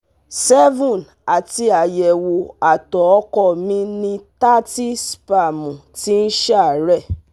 seven àti ayewo ato ọkọ mi ní thirty spẹ̀mù ti ń sá re